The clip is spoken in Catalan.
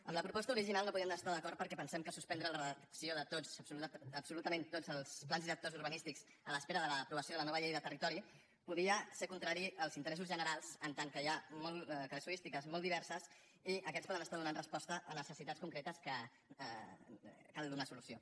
amb la proposta original no hi podíem estar d’acord perquè pensem que suspendre la redacció de tots absolutament tots els plans directors urbanístics a l’espera de l’aprovació de la nova llei de territori podia ser contrari als interessos generals en tant que hi ha casuístiques molt diverses i aquests poden donar resposta a necessitats concretes a què cal donar solució